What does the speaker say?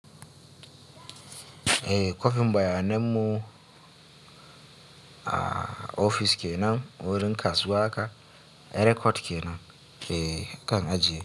Eh kwafim bayanan mu ofis kenan wurin kasuwa haka, eh record kenan ke kan ajiye.